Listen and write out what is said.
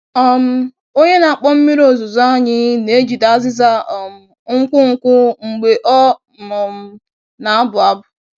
um Onye na-akpọ mmiri ozuzo anyị na-ejide azịza um nkwụ nkwụ mgbe ọ um na-abụ abụ.